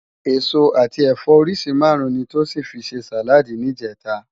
Esó ati ẹfọ óriṣi márùn ni Tosin fi sé sáládì nijètá